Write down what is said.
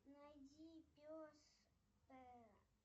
найди пес